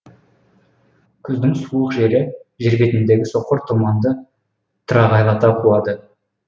күздің суық желі жер бетіндегі соқыр тұманды тырағайлата қуады